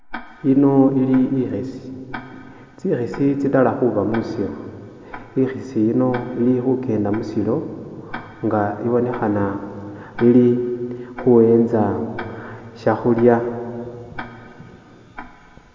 Iliwo ili ikhisi tsikhisi tsirela khuba mwisiru ikhisi yino iki khukenda musilo nga ibonekhana ili khuwentsa shakhulya